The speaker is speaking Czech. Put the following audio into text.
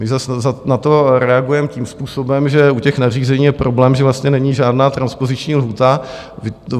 My zas na to reagujeme tím způsobem, že u těch nařízení je problém, že vlastně není žádná transpoziční lhůta.